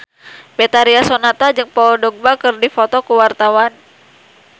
Betharia Sonata jeung Paul Dogba keur dipoto ku wartawan